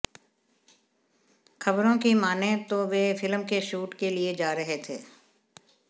खबरों की मानें तो वे फिल्म के शूट के लिए जा रहे थे